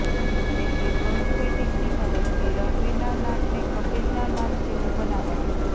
તેથી પ્રોસ્થેટિકની મદદથી રણવીરના નાકને કપિલના નાક જેવું બનાવાયું